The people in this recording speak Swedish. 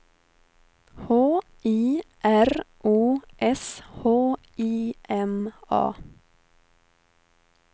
H I R O S H I M A